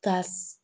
Ka